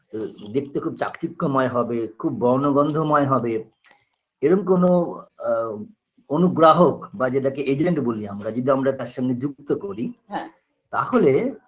আ দেখতে খুব চাকচিক্যময় হবে খুব বর্ণ গন্ধময় হবে এরম কোনো আ অনুগ্রাহক বা যেটাকে agent বলি আমরা যদি আমরা তার সঙ্গে যুক্ত করি হ্যাঁ তাহলে